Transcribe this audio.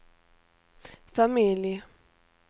familj